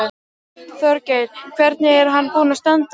Þorgeir: Hvernig er hann búinn að standa sig?